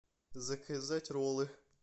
заказать роллы